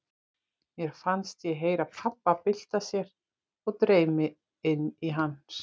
Mér fannst ég heyra pabba bylta sér og dreif mig inn til hans.